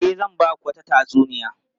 E, zan ba ku wata tatsuniya.